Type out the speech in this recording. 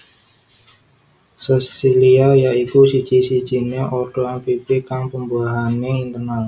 Sesilia ya iku siji sijiné ordo amfibi kang pembuahané internal